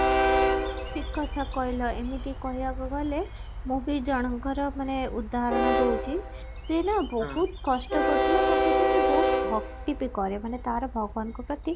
ଠିକ କଥା କହିଲ ଏମିତି କହିବାକୁ ଗଲେ ମୁଁ ବି ଜଣଙ୍କର ମାନେ ଉଦାହରଣ ଦଉଛି ସିଏ ନା ବହୁତ କଷ୍ଟ କରୁଥିଲା ତା ସହିତ ସେ ବହୁତ ଭକ୍ତି ବି କରେ ମାନେ ତାର ଭଗବାନଙ୍କ ପ୍ରତି